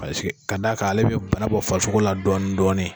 paseke ka d' a kan ale be bana bɔ farisogo la dɔɔnin dɔɔnin